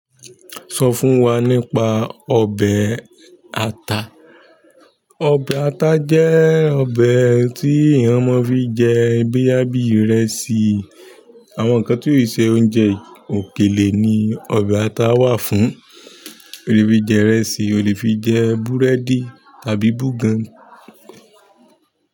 Sọ fún wa nípa ọbẹ̀ ata. Ọbẹ̀ ata jẹ́ ọbẹ̀ tí eyan mo fi nje boyá bíi ìrẹsì. Àwọn ǹkan tí ò kì ṣe oúnjẹ òkèlè ni ọbẹ̀ ara wa fún o lè fi jẹ ìrẹsì, o lè fi jẹ búrẹ́dì tàbí búgàn.